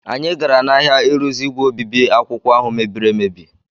Anyị gara n’ahịa ịrụzi ígwè obibi akwụkwọ ahụ mebiri emebi.